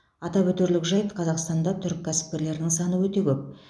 атап өтерлік жайт қазақстанда түрік кәсіпкерлерінің саны өте көп